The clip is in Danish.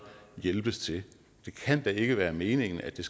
hjælpes til det kan da ikke være meningen at det